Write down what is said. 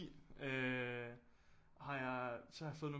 Har jeg så har jeg fået nogle